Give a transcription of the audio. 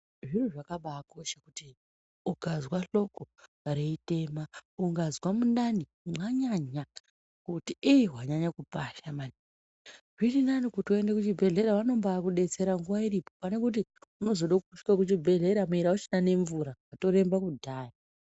Zvinhu zvakabakosha kuti ukazwa hloko reitema ungazwa mundani mwanyanya kuti ii wanyanya kupasha maningi zvirinini kuti uende kuchibhedhlera vanombakudetsera nguwa iripo pane kuti unozoda kusvike kuchibhedhlera iri auchina nemvura watoremba kudhaya.